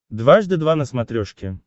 дважды два на смотрешке